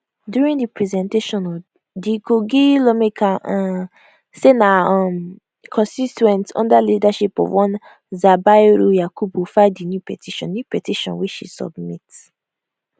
during di presentation di kogi lawmaker um say na her um constituents under leadership of one zubairu yakubu file di new petition new petition wey she submit